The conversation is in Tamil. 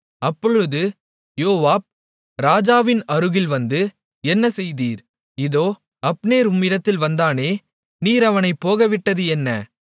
அப்பொழுது யோவாப் ராஜாவின் அருகில் வந்து என்ன செய்தீர் இதோ அப்னேர் உம்மிடத்தில் வந்தானே நீர் அவனைப் போகவிட்டது என்ன